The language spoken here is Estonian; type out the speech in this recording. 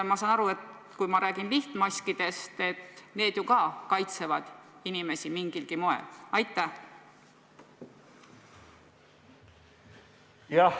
Ma saan aru, et kui jutt on lihtmaskidest, siis need ju ka kaitsevad inimesi mingilgi moel.